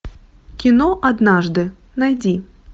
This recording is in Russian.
кино однажды найди